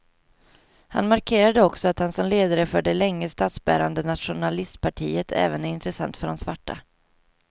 Han markerade också att han som ledare för det länge statsbärande nationalistpartiet även är intressant för de svarta.